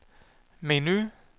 menu